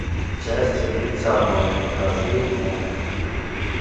счастье быть одной покажи мне